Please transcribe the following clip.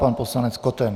Pan poslanec Koten.